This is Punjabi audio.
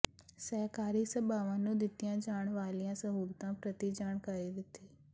ਸਹਿਕਾਰੀ ਸਭਾਵਾਂ ਨੂੰ ਦਿੱਤੀਆਂ ਜਾਣ ਵਾਲੀਆਂ ਸਹੂਲਤਾਂ ਪ੍ਰਤੀ ਜਾਣਕਾਰੀ ਦਿੱਤੀ